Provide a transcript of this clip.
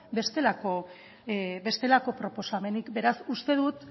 bestelako proposamenik beraz uste dut